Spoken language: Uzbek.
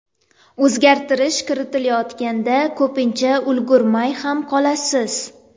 O‘zgartirish kiritilayotganda ko‘pincha ulgurmay ham qolasiz.